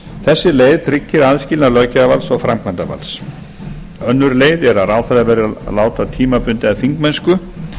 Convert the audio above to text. þessi leið tryggir aðskilnað löggjafarvalds og framkvæmdarvaldsins önnur leið er að ráðherra verði að láta tímabundið af þingmennsku